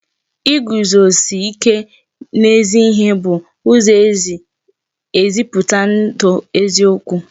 Iguzosi ike n'ezi ihe bụ ụzọ e si ezipụta ndụ eziokwu